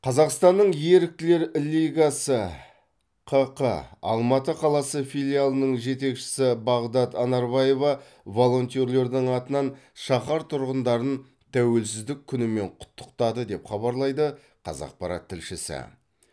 қазақстанның еріктілер лигасы ққ алматы қаласы филиалының жетекшісі бағдат анарбаева волонтерлердің атынан шаһар тұрғындарын тәуелсіздік күнімен құттықтады деп хабарлайды қазақпарат тілшісі